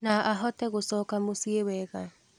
Na ahote gũcoka mũciĩ wega.